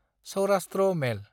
Saurashtra मेल